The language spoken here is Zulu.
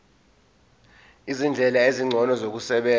izindlela ezingcono zokusebenza